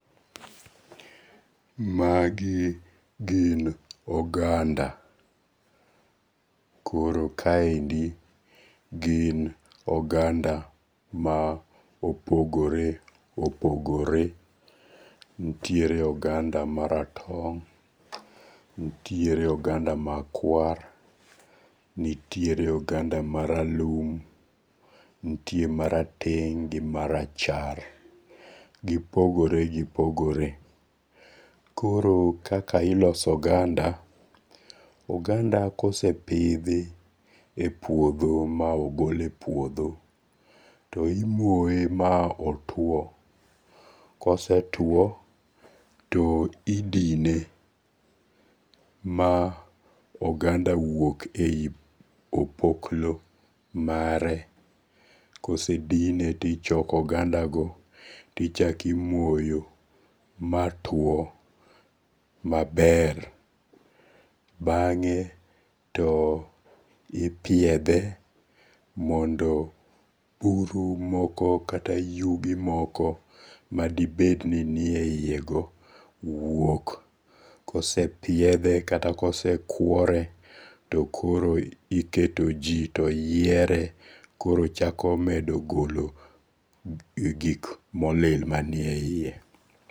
Magi gin oganda, koro kaendi gin oganda ma opogore opogore, nitiere oganda maratong', nitiere oganda makwar, nitiere oganda maralum, nitiere marateng' gi marachar, gipogore gipogore, koro kaka iloso oganda, oganda kosepithi e puotho ma ogol e puotho to imoye ma otwo, kosetwo to idine ma oganga wuog e opokloo mare, kosedine to ichako ogandago to imoyo matwo maber, bange' to ipiedhe mondo buru moko kata yudi moko madibed ni nie yiyego wuok , kosepiethe kata kose kuore to koro iketoji to yiere to chako medo golo gik ma olil manieiye